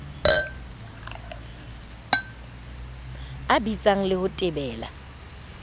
a bitsang le ho tebela